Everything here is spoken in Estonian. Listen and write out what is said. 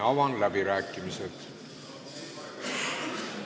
Avan läbirääkimised.